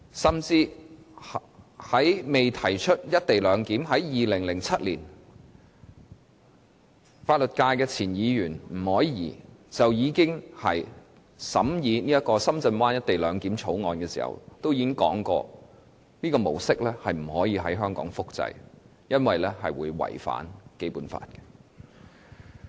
甚至早在2007年，未提出"一地兩檢"前，代表法律界的前立法會議員吳靄儀在審議《深圳灣口岸港方口岸區條例草案》時，就已經提出這種模式不可以在香港複製，因為這是會違反《基本法》的。